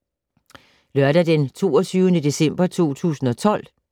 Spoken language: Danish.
Lørdag d. 22. december 2012